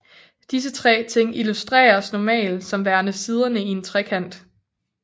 Disse tre ting illustreres normalt som værende siderne i en trekant